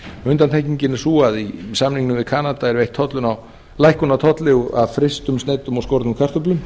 undantekningin er sú að í samningnum við kanada er veitt lækkun á tolli af frystum sneiddum og skornum kartöflum